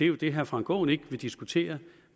jo det herre frank aaen ikke vil diskutere